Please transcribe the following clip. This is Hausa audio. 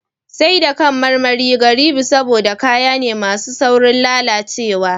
Saida kan marmari gyari ve, saboda kaya ne masu saurin lalacewa.